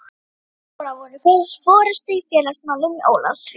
Jón og Lára voru í forystu í félagsmálum í Ólafsvík.